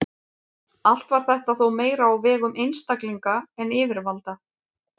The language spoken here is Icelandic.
Allt var þetta þó meira á vegum einstaklinga en yfirvalda.